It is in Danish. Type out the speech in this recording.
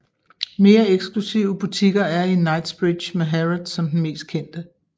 Mere eksklusive butikker er i Knightsbridge med Harrods som den mest kendte